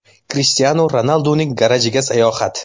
Krishtianu Ronalduning garajiga sayohat .